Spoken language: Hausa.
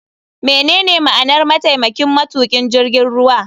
Menene ma'anar mataimakin matukin jirgin ruwa.